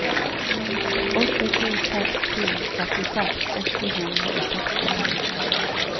åtte to seks to trettiseks åtte hundre og sekstito